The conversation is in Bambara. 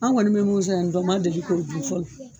Anw kɔni bɛ mun yan, u ma deli k'a